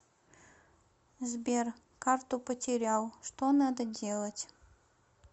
сбер карту потерял что надо делать